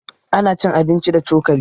Ana cin abinci da cokali.